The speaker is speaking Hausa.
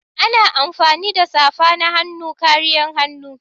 Ana amfani da safana-hannu kariyan hannu.